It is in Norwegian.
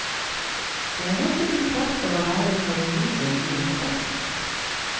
Og det er nettopp i kraft av å være parodi den blir en klassiker.